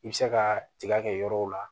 I bɛ se ka tiga kɛ yɔrɔw la